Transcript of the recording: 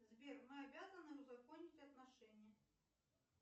сбер мы обязаны узаконить отношения